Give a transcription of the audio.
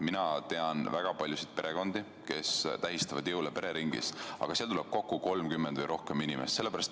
Mina tean väga paljusid perekondi, kes tähistavad jõule pereringis, aga seal tuleb kokku 30 või rohkem inimest.